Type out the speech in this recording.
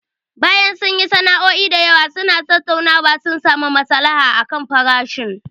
Bayan sun yi sa'o'i da yawa suna tattaunawa, sun samu masalaha akan farashin.